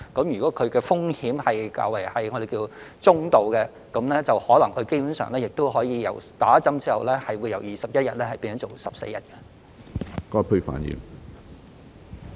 如果風險為中度，基本上在接種疫苗後，他們的檢疫期可以由21天減至14天。